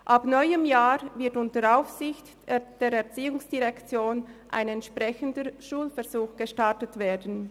Nächstes Jahr wird unter der Aufsicht der ERZ ein entsprechender Schulversuch gestartet werden.